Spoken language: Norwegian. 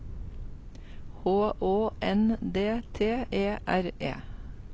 H Å N D T E R E